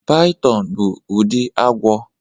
Python bụ ụdị agwọ